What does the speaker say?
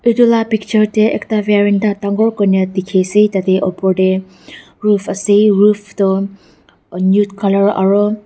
etu lah picture teh ekta varinda dangor koina dikhi ase tah teh upar teh roof ase roof toh nude colour aro--